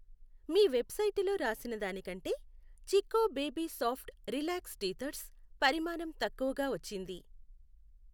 మీ వెబ్సైటులో రాసినదానికంటేచిక్కొ baby soft relax teethers పరిమాణం తక్కువగా వచ్చింది.